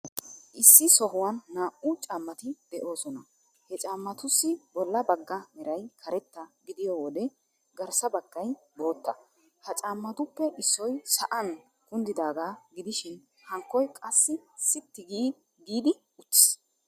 Issi sohuwan naa"u caammati de'oosona. He caammatussi bolla bagga meray karetta godiyo wode garssa baggay bootta. Ha caammatuppe issoy sa'an kunddidaaga gidoshin hankkoy qaassi sitti giidi uttiis.